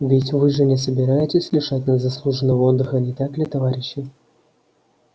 ведь вы же не собираетесь лишать нас заслуженного отдыха не так ли товарищи